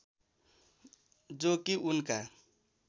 जो कि उनका